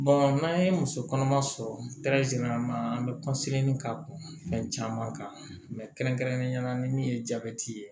n'an ye muso kɔnɔma sɔrɔ an bɛ ka fɛn caman kan yala ni min ye jabɛti ye